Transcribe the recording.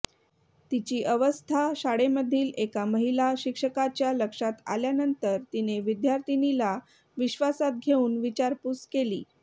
तिची अवस्था शाळेमधील एका महिला शिक्षकाच्या लक्षात आल्यानंतर तिने विद्यार्थीनीला विश्वासात घेऊन विचारपूस केली